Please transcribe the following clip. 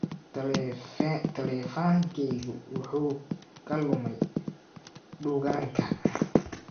Taleefankaygu wuxuu ka lumay dukaanka